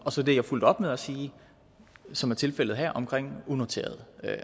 og så det jeg fulgte op med at sige som er tilfældet her omkring unoterede